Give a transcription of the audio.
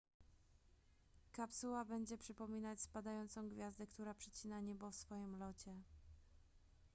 kapsuła będzie przypominać spadającą gwiazdę która przecina niebo w swoim locie